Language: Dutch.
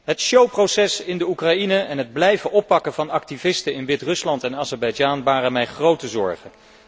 Het showproces in de Oekraïne en het blijven oppakken van activisten in Wit Rusland en Azerbeidzjan baren mij grote zorgen.